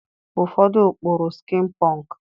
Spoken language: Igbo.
Ụfọdụ kpụrụ skin pọnk.